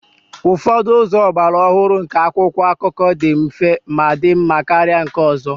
Ụfọdụ ụzọ ọgbara ọhụrụ nke akwụkwọ akụkọ dị mfe ma dị mma karịa nke ọzọ